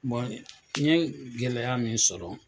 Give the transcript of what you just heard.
Bon i ye gɛlɛya min sɔrɔ.